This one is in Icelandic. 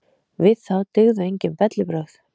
Við þá dygðu enginn bellibrögð.